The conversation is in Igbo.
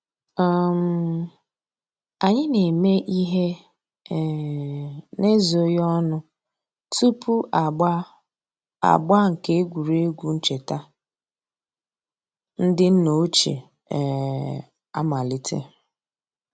um Ànyị̀ nà-émè íhè um n'èzòghì ònù túpù àgbà àgbà nke ègwè́ré́gwụ̀ nchètà ńdí nnà òchìè um àmàlítè.